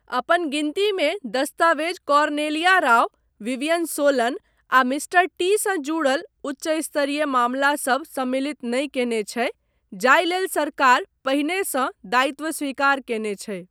अपन गिनतीमे, दस्तावेज़ कॉर्नेलिया राउ, विवियन सोलन आ 'मिस्टर टी' सँ जुड़ल उच्चस्तरीय मामलासभ सम्मिलित नहि कयने छै जाहि लेल सरकार पहिने सँ दायित्व स्वीकार कयने छै।